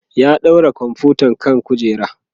ya ɗaura komfuta akan kujera